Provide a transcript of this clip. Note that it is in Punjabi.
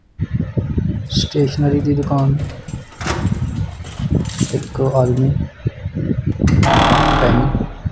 ਸਟੇਸ਼ਨਰੀ ਦੀ ਦੁਕਾਨ ਇੱਕ ਆਦਮੀ ਪੇਨ।